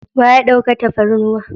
Wa ya ɗauka tafarnuwan?